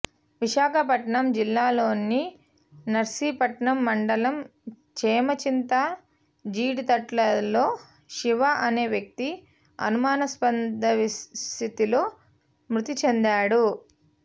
విశాఖపట్నం జిల్లాలోని నర్సీపట్నం మండలం చేమచింత జీడితటల్లో శివ అనే వ్యక్తి అనుమానాస్పద స్థితిలో మృతి చెందాడు